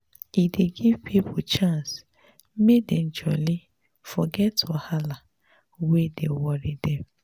e dey give pipo chance make dem jolly forget wahala wey dey worry dem.